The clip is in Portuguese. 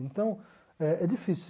Então, é é difícil.